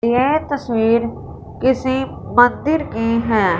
ये तस्वीर किसी मंदिर की हैं।